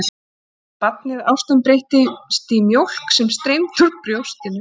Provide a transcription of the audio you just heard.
Það gerði aftur á móti barnið, ástin breyttist í mjólk sem streymdi úr brjóstinu.